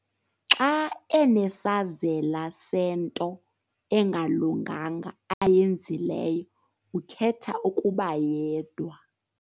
Xa enesazela sento engalunganga ayenzileyo ukhetha ukuba yedwa.